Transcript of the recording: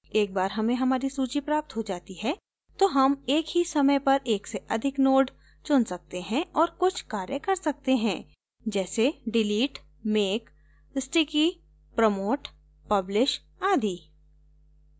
एक बार हमें हमारी सूची प्राप्त हो जाती है तो हम एक ही समय पर एक से अधिक node चुन सकते हैं और कुछ कार्य कर सकते हैं जैसे delete make sticky promote publish आदि